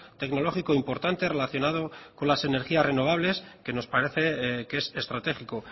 tecnológico importante relacionado con las energías renovables que nos parece que es estratégico